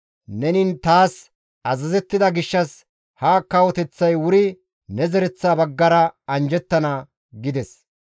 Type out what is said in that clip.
Neni taas azazettida gishshas ha kawoteththay wuri ne zereththa baggara anjjettana» gides.